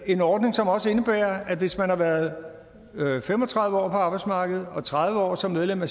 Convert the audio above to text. en ordning som også indebærer at hvis man har været fem og tredive år på arbejdsmarkedet og tredive år som medlem af